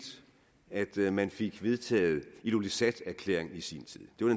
at det er derfor man fik vedtaget illulissaterklæringen i sin tid det var